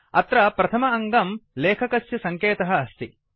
अत्र प्रथम अङ्गं लेखकस्य सङ्केतः अस्ति